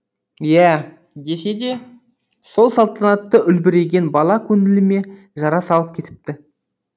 иә десе де сол салтанатты үлбіреген бала көңіліме жара салып кетіпті